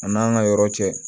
A n'an ka yɔrɔ cɛ